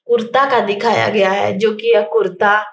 कुर्ता का दिखाया गया है जो की यह कुर्ता --